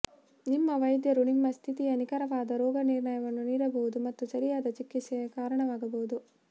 ನಿಮ್ಮ ವೈದ್ಯರು ನಿಮ್ಮ ಸ್ಥಿತಿಯ ನಿಖರವಾದ ರೋಗನಿರ್ಣಯವನ್ನು ನೀಡಬಹುದು ಮತ್ತು ಸರಿಯಾದ ಚಿಕಿತ್ಸೆಗೆ ಕಾರಣವಾಗಬಹುದು